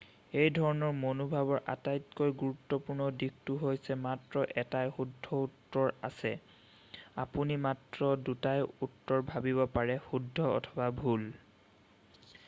এই ধৰণৰ মনোভাৱৰ আটাইতকৈ গুৰুত্বপূৰ্ণ দিশটো হৈছে মাত্ৰ এটাই শুদ্ধ উত্তৰ আছে আপুনি মাত্ৰ দুটাই উত্তৰ ভাবিব পাৰে শুদ্ধ অথবা ভুল